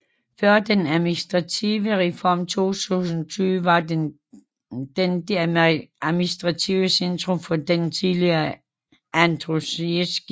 Før den administrative reform i 2020 var den det administrative centrum for den tidligere Andrusjivskyj rajon